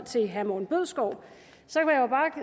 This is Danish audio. til herre morten bødskov